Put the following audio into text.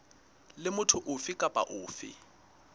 le motho ofe kapa ofe